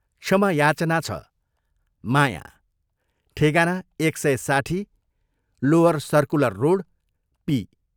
क्षमा याचना छ माया ठेगाना एक सय साठी, लोअर सर्कुलर रोड, पी.